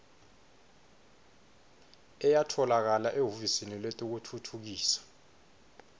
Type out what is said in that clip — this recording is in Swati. ayatfolakala ehhovisi letekutfutfukiswa